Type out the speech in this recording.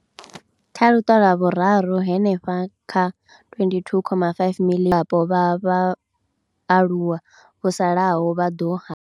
Kha luṱa lwa vhuraru, hanefha kha 22.5 miḽioni dzulapo vha vhaaluwa vho salaho vha ḓo.